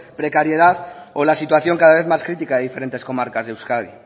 precariedad o la situación cada vez más crítica de diferentes comarcas de euskadi